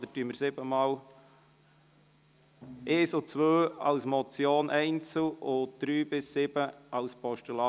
– Wir stimmen einzeln über die Punkte 1 und 2 als Motion ab, aber gemeinsam über die Punkte 3 bis 7 als Postulat.